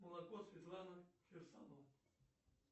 молоко светлана кирсанова